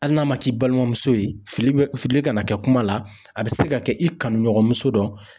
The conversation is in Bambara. Hali n'a ma k'i balimamuso ye ,fili bɛ fili kana kɛ kuma la; a bɛ se ka kɛ i kanuɲɔgɔnmuso dɔ.